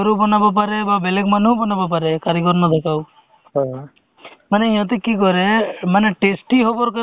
pregnant women আছে child ৰ আছে তে বা তেওঁলোকৰ full emulation এন~ entry কৰিব লাগে